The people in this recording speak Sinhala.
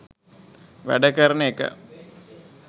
වැඩ කරන එක